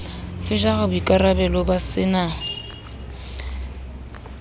se jara boikarabello ba sena